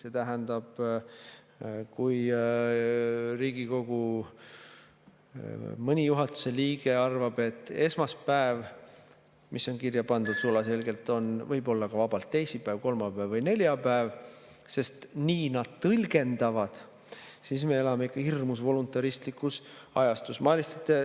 See tähendab, et kui Riigikogus mõni juhatuse liige arvab, et esmaspäev, mis on kirja pandud sulaselgelt, võib olla ka vabalt teisipäev, kolmapäev või neljapäev, sest nii nad tõlgendavad, siis me elame ikka hirmus voluntaristlikus ajastus.